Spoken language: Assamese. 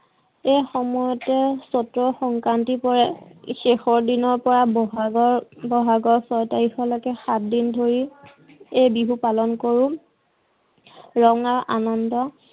এই সময়তে চতৰ সংক্ৰান্তি পৰে, শেষৰ দিনৰ পৰা বহাগৰ বহাগৰ চয় তাৰিখলৈকে সাত দিন ধৰি এই বিহু পালন কৰো ৰঙা আনন্দ